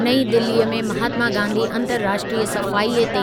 नईं दिल्लीअ में महात्मा गांधी अंतरराष्ट्रीयु सफ़ाईअ ते